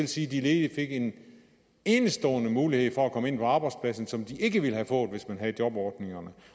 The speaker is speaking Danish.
sige at de ledige fik en enestående mulighed for at komme ind på arbejdspladserne som de ikke ville have fået hvis man havde jobordningerne